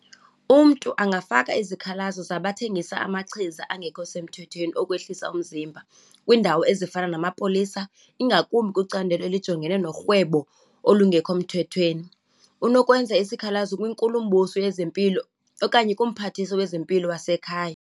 Umntu angafaka izikhalazo zabathengisa amachiza angekho semthethweni okwehlisa umzimba, kwiindawo ezifana namapolisa, ingakumbi kwicandelo elijongene norhwebo olungekho mthethweni. Unokwenza isikhalazo kwiNkulumbuso yezempilo okanye kuMphathiswa wezempilo wasekhaya.